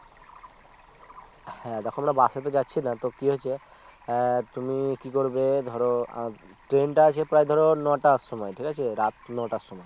হ্যাঁ দেখো আমরা Bus এ তো যাচ্ছি না তো কি হয়েছে তুমি কি করবে ধরো Train টা আছে প্রায় ধরো নটার সময় ঠিক আছে রাত নটার সময়